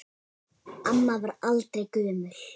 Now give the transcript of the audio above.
Amma varð aldrei gömul.